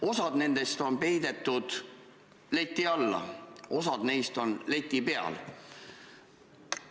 Osa nendest on peidetud leti alla, osa on leti peal.